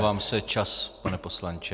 Omlouvám se, čas, pane poslanče.